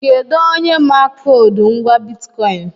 Kedụ onye ma koodu ngwá bitkọịn?